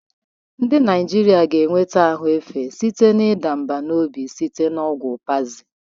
Ndị Naijiria ga-enweta ahụ efe site na ịda mbà n'obi site na ọgwụ Pazil.